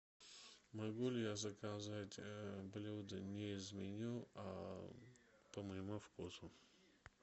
могу ли я заказать блюда не из меню а по моему вкусу